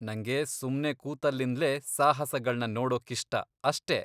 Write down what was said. ನಂಗೆ ಸುಮ್ನೆ ಕೂತಲ್ಲಿಂದ್ಲೇ ಸಾಹಸಗಳ್ನ ನೋಡೋಕ್ಕಿಷ್ಟ ಅಷ್ಟೇ!